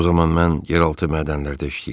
O zaman mən yeraltı mədənlərdə işləyirdim.